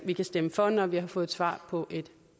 vi kan stemme for når vi har fået svar på et